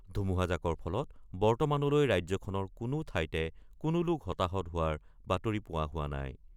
ধুমুহাজাকৰ ফলত বৰ্তমানলৈ ৰাজ্যখনৰ কোনো ঠাইতে কোনো লোক হতাহত হোৱাৰ বাতৰি পোৱা হোৱা নাই।